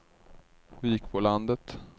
Vikbolandet